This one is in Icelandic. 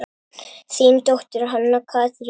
Þín dóttir, Hanna Katrín.